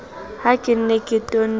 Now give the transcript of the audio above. ha ke ne ke tonne